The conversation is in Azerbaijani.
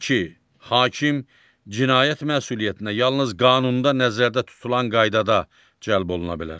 Hakim cinayət məsuliyyətinə yalnız qanunda nəzərdə tutulan qaydada cəlb oluna bilər.